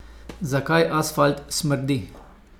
Zakaj asfalt smrdi?